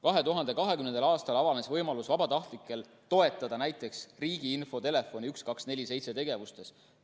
2020. aastal avanes vabatahtlikel võimalus toetada näiteks riigi infotelefoni 1247 tema tegevuses.